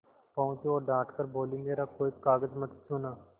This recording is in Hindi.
पहुँची और डॉँट कर बोलीमेरा कोई कागज मत छूना